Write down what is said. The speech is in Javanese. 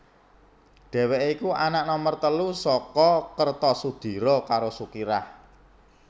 Dhèwèké iku anak nomer telu saka Kertosudiro karo Sukirah